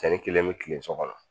San kelen bɛ tile so kɔnɔ